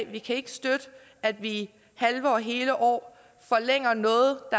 vi kan ikke støtte at vi i halve og hele år forlænger noget